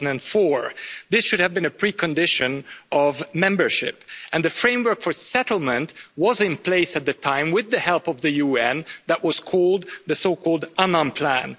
2004. This should have been a precondition for membership. And the framework for settlement was in place at the time, with the help of the UN, in the so called Annan Plan'.